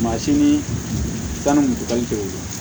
Mansin ni tan ni kudayi